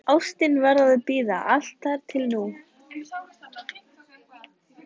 Ástin varð að bíða, allt þar til nú.